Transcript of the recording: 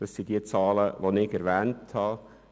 Das sind die Zahlen, die ich erwähnt habe.